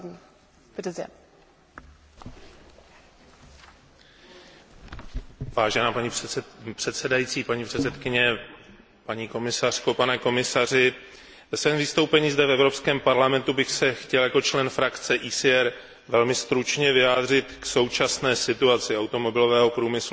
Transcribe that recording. Vážená paní předsedající, paní komisařko, pane komisaři, ve svém vystoupení zde v Evropském parlamentu bych se chtěl jako člen skupiny ECR velmi stručně vyjádřit k současné situaci automobilového průmyslu, a to hlavně z pohledu budoucí konkurenceschopnosti evropských výrobců.